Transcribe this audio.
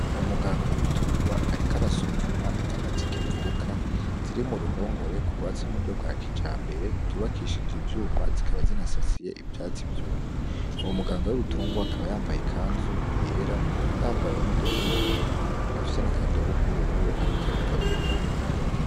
Umuganga w'ibitungwa ariko arasuzuma inyana zikivuka ziri mu ruhongore rwubatse mu buryo bwa kijambere ryubakishije ivyuma zikaba zinasasiye ivyatsi vyumye uwo muganga w'ibitungwa akaba yambaye ikanzu yera yambaye n'udukingira iminwe afise n'akadobo k'ubururu ariko arayigaburiramwo.